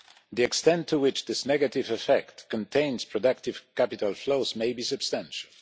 The extent to which this negative effect contains productive capital flows may be substantial.